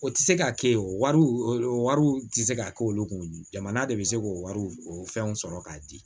O tɛ se ka kɛ o wariw o wariw tɛ se ka k'olu kun jamana de bɛ se k'o wari o fɛnw sɔrɔ k'a di